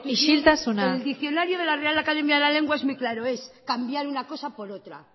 isiltasuna el diccionario de la real academia de la lengua es muy claro es cambiar una cosa por otra